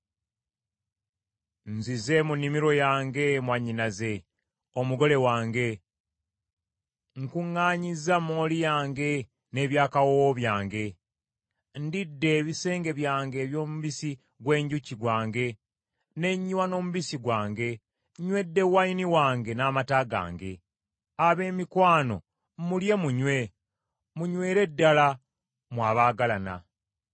Nzize mu nnimiro yange mwannyinaze, omugole wange; nkuŋŋaanyiza mooli yange n’eby’akawoowo byange. Ndidde ebisenge byange eby’omubisi gw’enjuki gwange ne nywa n’omubisi gwange, Nywedde wayini wange n’amata gange. Abemikwano Abemikwano mulye munywe, munywere ddala, mmwe abaagalana.